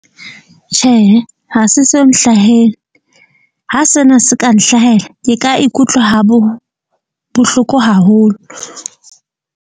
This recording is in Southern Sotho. Tjhehe, ha se so nhlahele ha sena se ka nhlahela, ke ka ikutlwa ha bohloko haholo.